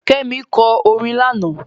Kẹ́mi lọ orin lánàá.